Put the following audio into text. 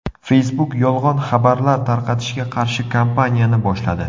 Facebook yolg‘on xabarlar tarqatishga qarshi kampaniyani boshladi.